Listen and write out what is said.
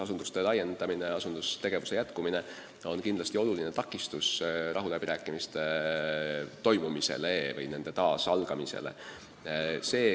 Asunduste laiendamine, asunduste tegevuse jätkumine on kindlasti oluline takistus rahuläbirääkimiste toimumisele või nende uuesti algamisele.